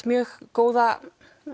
mjög góða